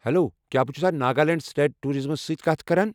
Hello! کیٚا بہٕ چھُسا ناگالینڈ سٹیٹ ٹورازمَس سۭتۍ کتھ کران؟